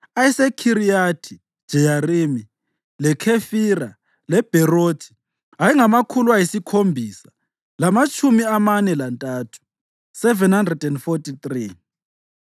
ayeseKhiriyathi-Jeyarimi, leKhefira leBherothi ayengamakhulu ayisikhombisa lamatshumi amane lantathu (743),